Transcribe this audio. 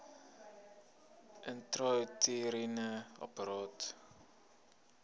intrauteriene apparaat iua